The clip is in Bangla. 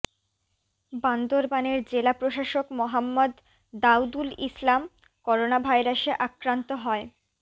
বান্দরবানের জেলা প্রশাসক মোহাম্মদ দাউদুল ইসলাম করোনাভাইরাসে আক্রান্ত হয